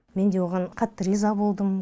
мен де оған қатты риза болдым